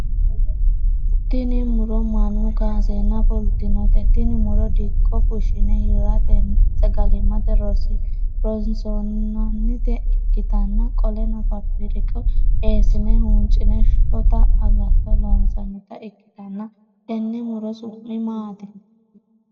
Tinni muro mannu kaaseenna fultinote tinni muro dikko fushine hiratenna sagalimate roonsi'nannita ikitanna qoleno faafirika eesine huuncine shotta agatto loonsannita ikitanna tenne muro su'mi maati?